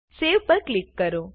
Saveપર click કરો